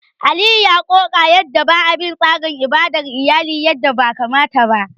Aliyu ya ƙoƙa da yadda ba a bi tsarin ibadar iyali yadda ya kamata ba.